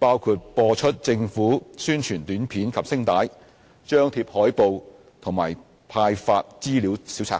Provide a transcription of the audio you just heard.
包括播出政府宣傳短片及聲帶、張貼海報和派發資料小冊子。